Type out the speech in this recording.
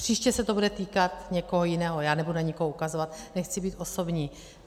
Příště se to bude týkat někoho jiného, já nebudu na nikoho ukazovat, nechci být osobní.